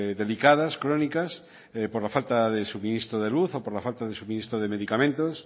delicadas crónicas por la falta de suministro de luz o por la falta de suministro de medicamentos